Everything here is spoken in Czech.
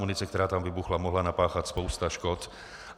Munice, která tam vybuchla, mohla napáchat spoustu škod.